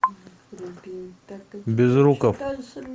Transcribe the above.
безруков